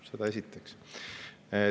Seda esiteks.